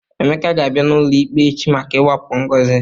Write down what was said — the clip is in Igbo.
Emeka ga-abịa n'ụlọikpe echi maka ịwakpo Ngozi.